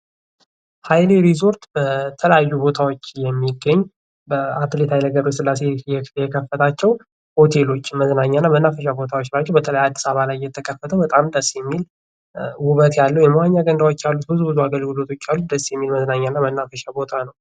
ሀይሌ ሪዞርት በተለያዩ ቦታዎች የሚገኝ በአትሌት ኃይሌ ገብረ ሥላሴ የከፈታቸው ሆቴሎች መዝናኛ እና መናፈሻ ቦታዎች ናቸው በተለይ አዲስ አበባ ላይ የተከፈተው በጣም ደስ የሚል ውብት ያለው የመዋኛ ገንዳዎች ያሉት ብዙ ብዙ አገልክሎቶች ያሉት ደስ የሚል መዝናኛ እና መናፈሻ ቦታ ነው ።